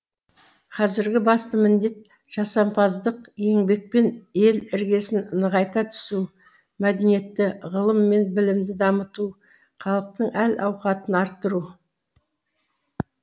қазіргі басты міндет жасампаздық еңбекпен ел іргесін нығайта түсу мәдениетті ғылым мен білімді дамыту халықтың әл ауқатын арттыру